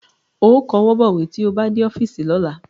Ó kọwọ́ bọ̀wé tí ó bá dé ọ́fíìsì lọ́la